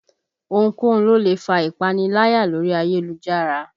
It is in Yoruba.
Ohunkóhun ló lè fa ìpaniláyà lórí ayélujára